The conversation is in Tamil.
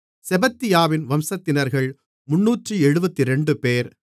செபத்தியாவின் வம்சத்தினர்கள் 372 பேர்